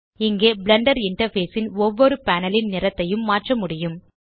இங்கே Blender interface ன் ஒவ்வொரு பேனல் ன் நிறத்தையும் மாற்ற முடியும்